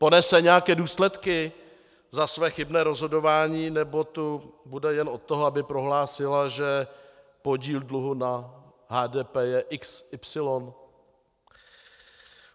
Ponese nějaké důsledky za své chybné rozhodování, nebo tu bude jen od toho, aby prohlásila, že podíl dluhu na HDP je xy?